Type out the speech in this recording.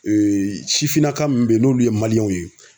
Ee sifinnaka min be yen n'olu ye maliyɛnw ye